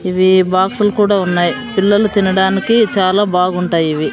ఇవి బాక్సులు కూడా ఉన్నాయి పిల్లలు తినడానికి చాలా బాగుంటాయి ఇవి.